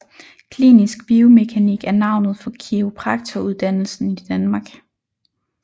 Klinisk biomekanik er navnet for kiropraktoruddannelsen i Danmark